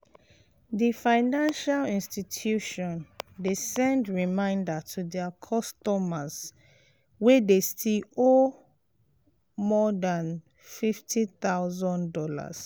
d financial institution de send reminder to their customers wey de still owe more than fifty thousand dollars